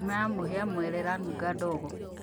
Ngima ya mũhia/mwere ĩranunga ndogo